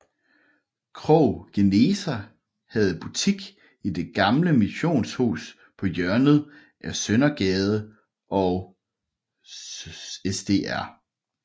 Krogh Geneser havde butik i det gamle missionshus på hjørnet af Søndergade og Sdr